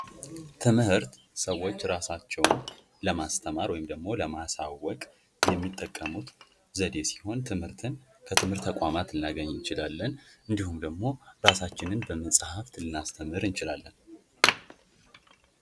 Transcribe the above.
ትምህርት ሰዎች ራሳቸውን ለማስተማር ዕውቀት ለማሳወቅ የሚጠቀሙባት ዘዴ ሲሆን እና ትምህርትን ከትምህርት ተቋማት ልናገኝ እችላለን እንዲሁም ራሳችንን በመጽሐፍት ልናስተምር እንችላለን፡፡